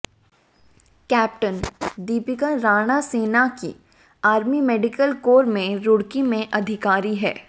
captain Deepika Rana सेना की army medical corps में रुड़की में अधिकारी हैं